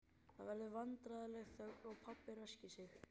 Það verður vandræðaleg þögn og pabbi ræskir sig.